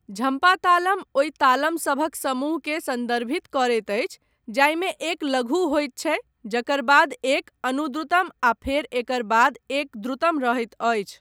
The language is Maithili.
झम्पा तालम ओहि तालम सभक समूहके सन्दर्भित करैत अछि जाहिमे एक लघु होइत छै, जकर बाद एक अनुद्रुतम आ फेर एकर बाद एक द्रुतम रहैत अछि।